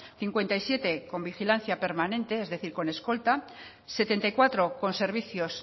cincuenta y siete con vigilancia permanente es decir con escolta setenta y cuatro con servicios